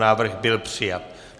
Návrh byl přijat.